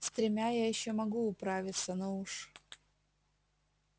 с тремя я ещё могу управиться но уж